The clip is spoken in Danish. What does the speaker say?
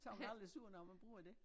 Så man aldrig sur når man bruger dét